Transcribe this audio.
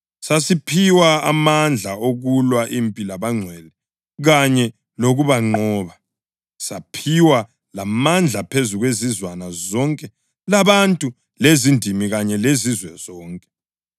Sasiphiwe amandla okulwa impi labangcwele kanye lokubanqoba. Saphiwa lamandla phezu kwezizwana zonke labantu lezindimi kanye lezizwe zonke.